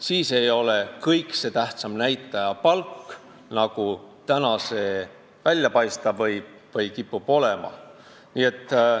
Siis ei ole kõikse tähtsam näitaja palk, nagu see praegu välja paista võib või olema kipub.